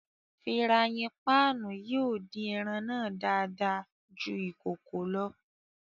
Firàyin pạạnu yóò din ẹran náa dàada jù ikòkò lọ.